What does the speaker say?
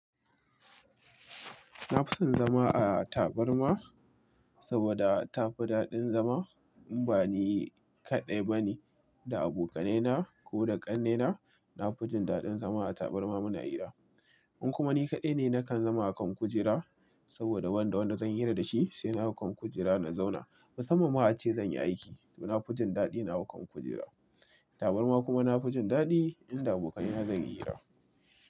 Na fi son zama a tabarma, saboda tafi daɗin zama. In bani kaɗai bane, da abokanaina ko da ƙannena, na fi jin daɗin zama a tabarma muna hira. In kuma ni kaɗai ne, nakan zama a kan kujera, saboda wanda wanda zan hira dashi, sai na hau kan kujera na zauna. Musamman ma ace zan yi aiki, to na fi jin daɗi na hau kan kujera. Tabarma kuma na fi jin daɗi in da abokanai na zan yi hira.